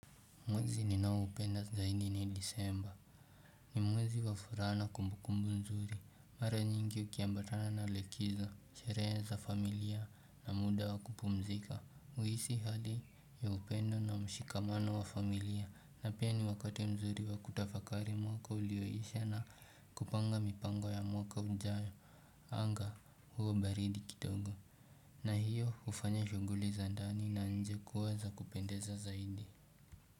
Mwezi ninao upenda zaidi ni disemba, ni mwezi wa furaha na kumbukumbu mzuri, mara nyingi ukiambatana na likizo, sherehe za familia na muda wa kupumzika, uhisi hali ya upendo na mshikamano wa familia, na pia ni wakati mzuri wa kutafakari mwaka ulioisha na kupanga mipango ya mwaka ujayo, anga huwa baridi kidogo, na hiyo ufanya shuguli za ndani na nje kuweza kupendeza zaidi.